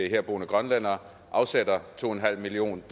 herboende grønlændere afsætter to million